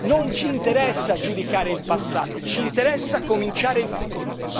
non ci interessa giudicare il passato ci interesse cominciare il futuro.